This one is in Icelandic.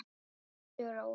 Bíddu róleg!